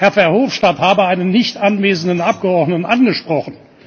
Herr Verhofstadt habe einen nicht anwesenden Abgeordneten angesprochen.